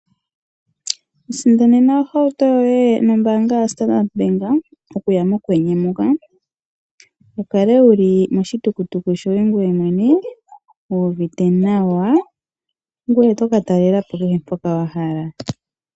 Isindanena ohauto yoye nombaanga yoStandard Bank, okuya mokwenye muka, wukale wuli moshitukutuku shoye ngoye mwene, wu uvite nawa, ngoye toka talelapo kehe mpoka wahala.